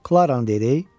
Klaranın deyirəy?